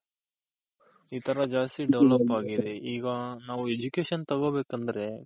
E ತರ ಜಾಸ್ತಿ develop ಆಗಿದೆ ಈಗ ನಾವು Education ತಗೊಂಬೇಕಂದ್ರೆ.